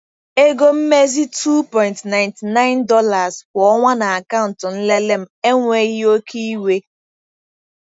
Ego mmezi $2.99 kwa ọnwa na akaụntụ nlele m enweghị oke iwe.